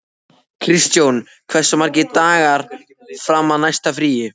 Kristjón, hversu margir dagar fram að næsta fríi?